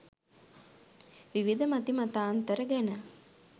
විවිධ මති මතාන්තර ගැන